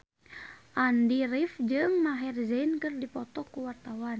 Andy rif jeung Maher Zein keur dipoto ku wartawan